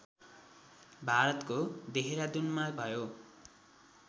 भारतको \देहरादुनमा भयो